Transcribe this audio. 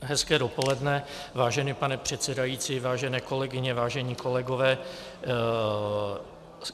Hezké dopoledne, vážený pane předsedající, vážené kolegyně, vážení kolegové.